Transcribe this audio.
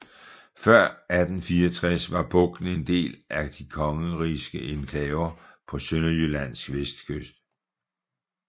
Før 1864 var bugten en del af de kongerigske enklaver på Sønderjyllands vestkyst